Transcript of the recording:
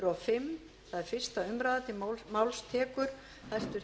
hæstvirtur forseti ég mæli fyrir frumvarpi til